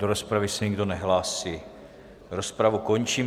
Do rozpravy se nikdo nehlásí, rozpravu končím.